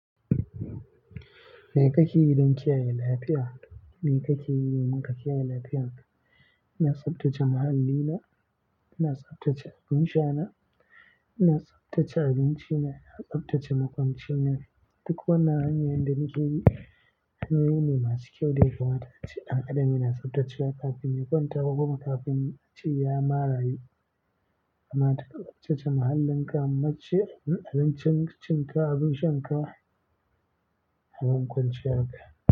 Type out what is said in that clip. Me kake yi don kiyaye lafiyar ka? Me kake yi domin ka kiyaye lafiyar ka? Ina tsaftace muhallina, ina tsaftace abin sha na, ina tsaftace abinci na, ina tsaftace makwancina. Duk wannan hanyoyin da nake yi, hanyoyi ne masu kyau da ya kamata. Ace ɗan adam yana tsaftace wa kafin ya kwanta kuma kafin a ce ya ma rayu. Ama tsaftace muhallinka, muce abincin cin ka, abin sha ka, da makwanci ka.